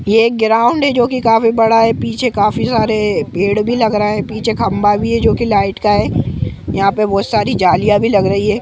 ये एक ग्राउंड जो के काफी बड़ा है पीछे काफी सारे पेड़ भी लग रहा है पीछे खम्भा भी है जो के लाईट का है यहां पे बहुत सारी जालियाँ भी लग रही है।